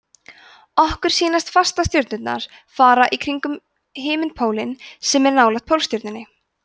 okkur sýnast fastastjörnurnar fara í hringi kringum himinpólinn sem er nálægt pólstjörnunni